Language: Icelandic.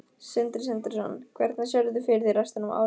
Sindri Sindrason: Hvernig sérðu fyrir þér restina af árinu?